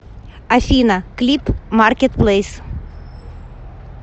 афина клип маркет плэйс